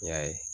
N y'a ye